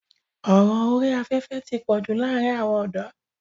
ọ̀ràn orí afẹ́fẹ́ ti pọ̀jù láàrin àwọn ọ̀dọ́.